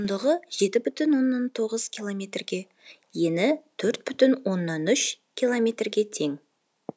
ұзындығы жеті бүтін оннан тоғыз километрге ені төрт бүтін оннан үш километрге тең